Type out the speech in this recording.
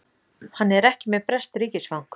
Hann er ekki með breskt ríkisfang